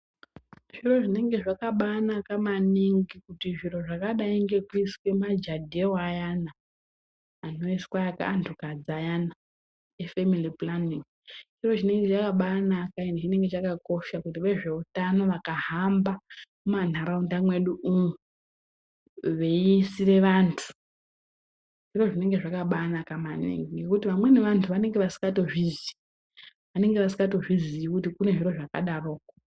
Zviro zvinenge zvakabaanaka maningi kuti zviro zvakadai ngekuiswe mujadhelu ayana anoiswe anhukadzi ayana e femili pulaningi, chiro chinenge chakabaanaka endi chinenge chakakosha kuti vezveutano vakahamba mumanharaunda mwedu umu veiisire vantu, zviro zvinenge zvakabaanaka maningi ngekuti vamweni vantu vanenge vasikatozvizii. Vanenge vasikatozvizii kuti kune zviro zvakadaroko.